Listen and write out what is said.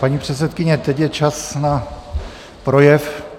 Paní předsedkyně, teď je čas na projev.